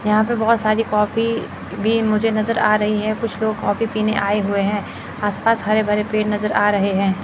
यहां पे बहोत सारी कॉपी भी मुझे नजर आ रही है कुछ लोग कॉफी पीने आए हुए हैं आसपास हरे भरे पेड़ नजर आ रहे हैं।